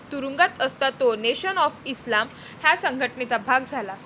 तुरुंगात असता तो नेशन ऑफ इस्लाम ह्या संघटनेचा भाग झाला.